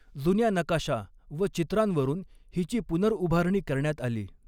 जुन्या नकाशा व चित्रांवरून हिची पुनर्उभारणी करण्यात आली.